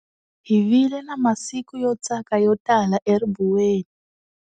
Hi vile na masiku yo tsaka yo tala eribuweni